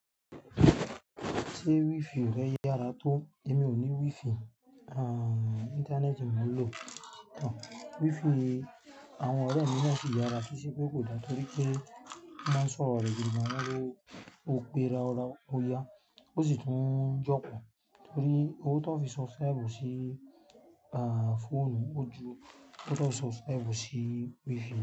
Ṣé wifi rẹ yára tó? Èmi ò ní wifi, aah internet mo n lọ. Wifi àwọn ọ̀rẹ́ mi náà sì yára, kì ṣe pé kò dá torí pé wọ́n máa ń sọ̀rọ̀ rẹ̀ gidigan, wọ́n lo raurau ó yá, ó sì tún ń jókòó torí owó tó fi subscribe sí aah phone ó ju owó tó fi subscribe sí wifi.